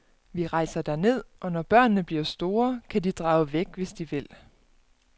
Vi rejser derned, og når børnene bliver store, kan de drage væk, hvis de vil.